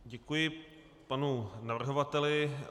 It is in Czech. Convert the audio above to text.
Děkuji panu navrhovateli.